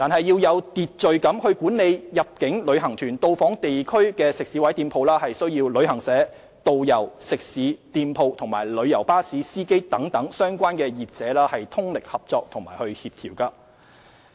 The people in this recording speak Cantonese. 要有秩序管理入境旅行團到訪地區的食肆及店鋪，需要旅行社、導遊、食肆、店鋪及旅遊巴士司機等相關業者通力合作與協調。